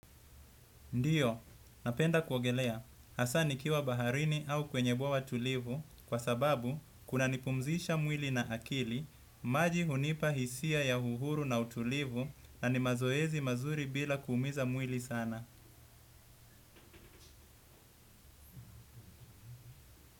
Ndiyo, napenda kuogelea. Hasa nikiwa baharini au kwenye bwawa tulivu kwa sababu kunanipumzisha mwili na akili, maji hunipa hisia ya uhuru na utulivu na ni mazoezi mazuri bila kuumiza mwili sana.